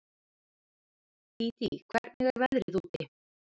Dídí, hvernig er veðrið úti?